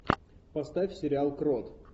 поставь сериал крот